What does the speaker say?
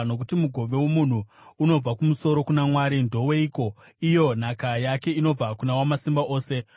Nokuti mugove womunhu unobva kumusoro kuna Mwari ndoweiko, iyo nhaka yake inobva kuna Wamasimba Ose?